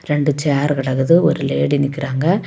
இரண்டு சேர் கிடக்குது ஒரு லேடி நிக்கிறாங்க.